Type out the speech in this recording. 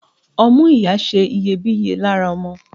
Ọmú ìyá ṣe iyebíye lára ọmọ.